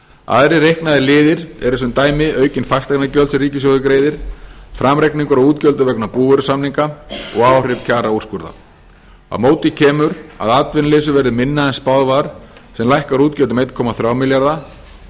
aðrir reiknaðir liðir eru sem dæmi aukin fasteignagjöld sem ríkissjóður greiðir framreikningur á útgjöldum vegna búvörusamninga og áhrif kjaraúrskurðar á móti kemur að atvinnuleysi verður minna en spáð var sem lækkar útgjöld um einn komma þrjá milljarða og